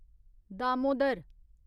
Damodar